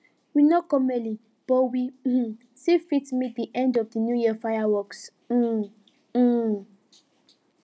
we no come early but we um still fit meet the end of the new year fireworks um um